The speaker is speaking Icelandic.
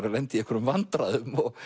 að lenda í einhverjum vandræðum